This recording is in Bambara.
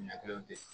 Ɲɛ kelen tɛ